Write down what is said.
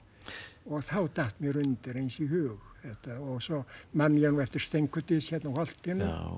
þá datt mér undir eins í hug þetta og svo man ég nú eftir Steinkudys hérna á holtinu